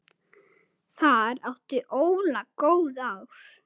Þar átti Óla góð ár.